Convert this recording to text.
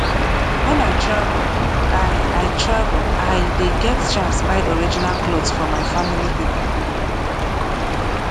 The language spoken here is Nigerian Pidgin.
wen i travel i i travel i dey get chance buy original clot for my family pipo